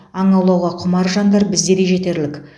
аң аулауға құмар жандар бізде де жетерлік